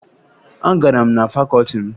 Agara m na fakọọti m